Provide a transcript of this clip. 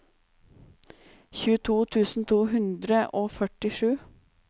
tjueto tusen to hundre og førtisju